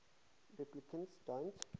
replicants don't